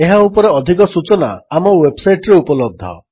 ଏହା ଉପରେ ଅଧିକ ସୂଚନା ଆମ ୱେବ୍ସାଇଟ୍ରେ ଉପଲବ୍ଧ